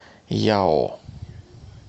яо